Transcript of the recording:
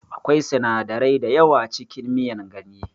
Akwai sinadarai dayawa cikin miyar ganye